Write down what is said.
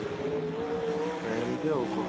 ଏମତି ଆଉ କଣ